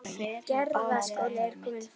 Arja, opnaðu dagatalið mitt.